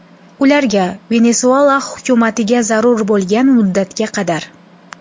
Ularga, Venesuela hukumatiga zarur bo‘lgan muddatga qadar.